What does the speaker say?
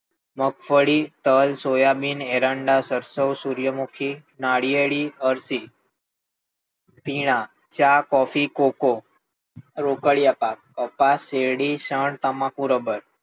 મગફળી, તલ, સોયાબીન, એરંડા, સરસવ, સૂર્યમુખી, નાળિયેરી, અળસી, પીણાં, ચા, કોફી, કોકો, રોકળિયા પાક, કપાસ, શેરડી, શણ, તમાકુ, રબર.